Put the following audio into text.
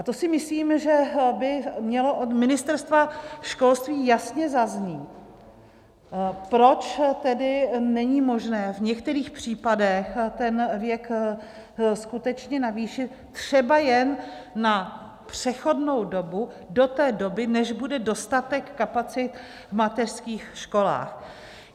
A to si myslím, že by mělo od Ministerstva školství jasně zaznít, proč tedy není možné v některých případech ten věk skutečně navýšit třeba jen na přechodnou dobu, do té doby, než bude dostatek kapacit v mateřských školách.